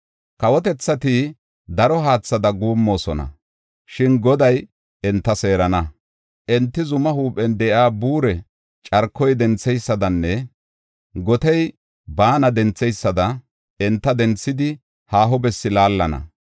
Kawotethati daro haathada guummoosona; shin Goday enta seerana. Enti zumaa huuphen de7iya buure carkoy dentheysadanne gotey baana dentheysada enta denthidi haaho bessi laallana.